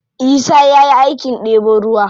Isa ya yi aikin ɗebo ruwa.